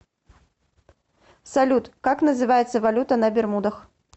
салют как называется валюта на бермудах